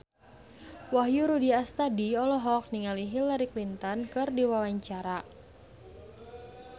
Wahyu Rudi Astadi olohok ningali Hillary Clinton keur diwawancara